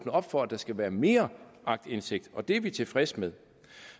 op for at der skal være mere aktindsigt og det er vi tilfredse med